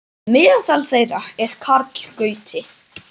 Meðal þeirra er Karl Gauti.